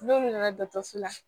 N'olu nana dɔgɔtɔrɔso la